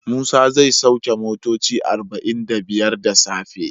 Musa zai sauke motoci arba'in da biyar da safe.